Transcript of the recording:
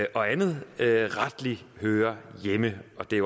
og andet rettelig hører hjemme og det